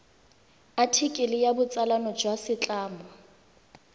athikele ya botsalano jwa setlamo